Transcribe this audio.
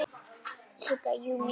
Sigga: Jú, mjög.